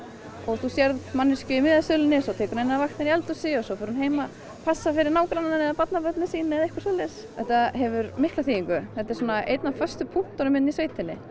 þú sérð manneskju í miðasölunni svo tekur hún vakt inni í eldhúsi og svo fer hún heim að passa fyrir nágrannann eða barnabörnin sín eða eitthvað svoleiðis þetta hefur mikla þýðingu þetta er einn af föstu punktunum hérna í sveitinni